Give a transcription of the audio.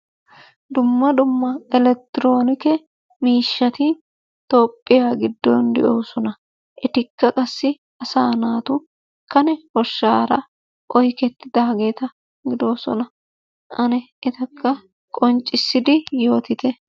Duma duma elekitronikke mishatti toohiyaa gidonni de'osona, ettikaa qassai asa natu kanne koshshara oykettiddagetta gidosonna ane ettaka qonccisidi yotittee.